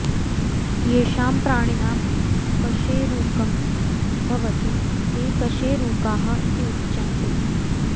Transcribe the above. येषां प्राणिनां कशेरुकं भवति ते कशेरुकाः इति उच्यन्ते